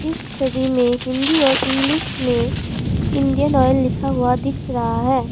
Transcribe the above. इस छवि में हिंदी और इंग्लिश में इंडियन ऑयल लिखा हुआ दिख रहा है।